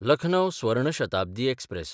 Lucknow Swarna Shatabdi express